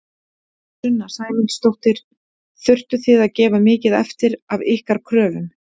Sunna Sæmundsdóttir: Þurftu þið að gefa mikið eftir af ykkar kröfum?